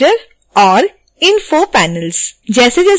navigator और info panels